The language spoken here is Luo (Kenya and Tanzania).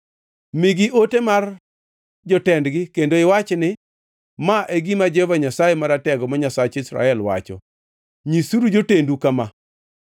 Migi ote mar jotendgi kendo iwachi ni, ‘Ma e gima Jehova Nyasaye Maratego ma, Nyasach Israel, wacho: “Nyisuru jotendu kama: